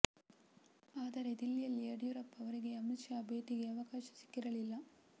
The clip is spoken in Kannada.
ಆದರೆ ದಿಲ್ಲಿಯಲ್ಲಿ ಯಡಿಯೂರಪ್ಪ ಅವರಿಗೆ ಅಮಿತ್ ಶಾ ಭೇಟಿಗೆ ಅವಕಾಶ ಸಿಕ್ಕಿರಲಿಲ್ಲ